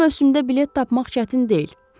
Bu mövsümdə bilet tapmaq çətin deyil.